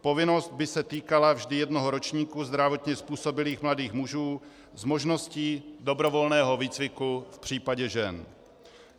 Povinnost by se týkala vždy jednoho ročníku zdravotně způsobilých mladých mužů s možností dobrovolného výcviku v případě žen.